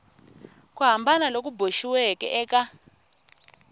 ku hambana loku boxiweke eka